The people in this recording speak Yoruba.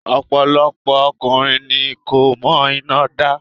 Ọ̀pọ̀lọpọ̀ ọkùnrin ni kò mọ iná dá.